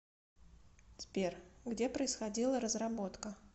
сбер где происходила разработка